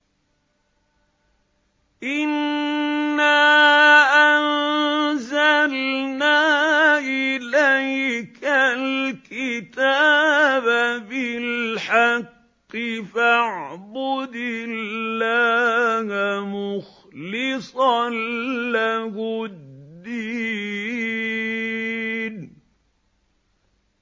إِنَّا أَنزَلْنَا إِلَيْكَ الْكِتَابَ بِالْحَقِّ فَاعْبُدِ اللَّهَ مُخْلِصًا لَّهُ الدِّينَ